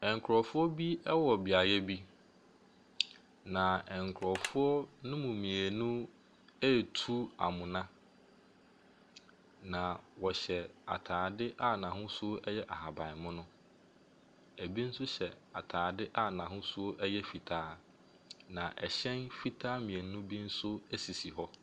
Nkurɔfoɔ bi wɔ beaeɛ bi. Na nkurɔfoɔ ne mmienu ɛretu amona. Na wɔhyɛ ataadeɛ a n’ahosuo yɛ ahabanmono, na bi nso hyɛ ataadeɛ a n’hosuo yɛ fitaa. Na hyɛn fitaa mmienu bi nso wɔ beaeɛ hɔ.